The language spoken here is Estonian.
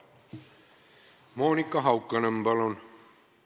Monika Haukanõmm, palun!